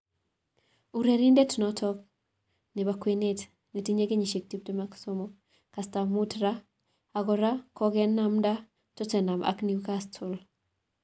Urerrnindet noto ab kwenet nenyit kenyisiek 23, kastab mut raa, ako kora kokenamda Tottenham ak Newcastle.